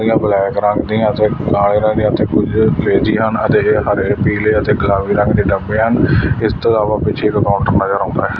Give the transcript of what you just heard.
ਕੁਰਸੀਆਂ ਬਲੈਕ ਰੰਗ ਦੀਆਂ ਤੇ ਕਾਲੇ ਦੀਆਂ ਤੇ ਕੁਝ ਭੇਜਦੀ ਹਨ ਅਤੇ ਇਹ ਹਰੇ ਪੀਲੇ ਅਤੇ ਗੁਲਾਮੀ ਰੰਗ ਦੇ ਦੱਬੇ ਹਨ ਇਸ ਤੋਂ ਇਲਾਵਾ ਪਿੱਛੇ ਇਕ ਕਾਊਂਟਰ ਨਜ਼ਰ ਆਉਂਦਾ ਹੈ।